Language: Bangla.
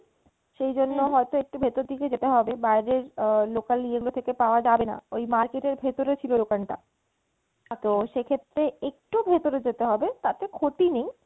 সেজন্য হয়তো একটু ভেতোর দিকে যেতে হবে বাইরের আহ local ইয়েগুলো থেকে পাওয়া যাবেনা এই market এর ভেতরে ছিলো দোকানটা। তো সেক্ষেত্রে একটু ভেতোরে যেতে হবে তাতে ক্ষতি নেই,